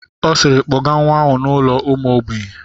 Ọ siiri, kpọgaa nwa ahụ n'ụlọ ụmụ ogbenye!